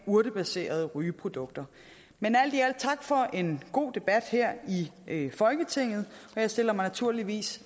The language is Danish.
urtebaserede rygeprodukter men alt i alt tak for en god debat her i folketinget og jeg stiller mig naturligvis